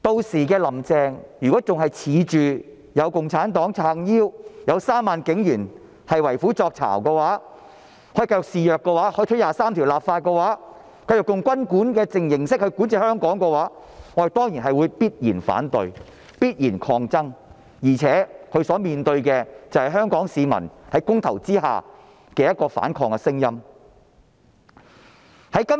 如果"林鄭"屆時仍然自恃有共產黨撐腰，有3萬警員為虎作倀，以為這樣便可以繼續肆虐，可以推行二十三條立法，繼續用軍管的形式管治香港，我們必然會反對及抗爭，而且她還要面對香港市民在公投中發出的反抗聲音。